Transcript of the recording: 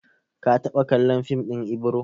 Ka taɓa kallon fim ɗin Ibro?